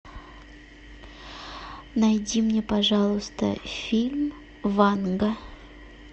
найди мне пожалуйста фильм ванга